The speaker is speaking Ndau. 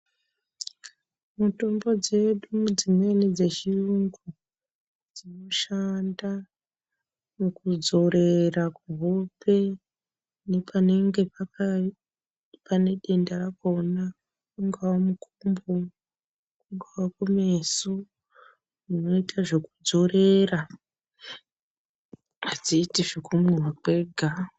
Mitombo dzedu dzi mweni dze chiyungu dzino shanda muku dzorera ku hope nepa nenga pane denda rakona ungava mukumbo kungava ku meso uno ita zveku dzorera adziiti zveku mwiwa zvega.